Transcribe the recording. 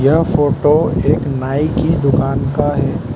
यह फोटो एक नाई की दुकान का है।